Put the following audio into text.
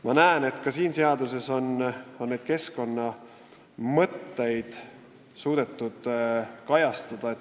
Ma näen, et ka selles seaduseelnõus on need keskkonnaga seotud mõtted kajastatud.